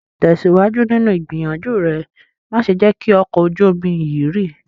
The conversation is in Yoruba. Tesiwaju ninu igbiyanju re! Ma ṣe jẹ ki ọkọ ojú omi yii rì